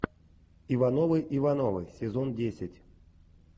ивановы ивановы сезон десять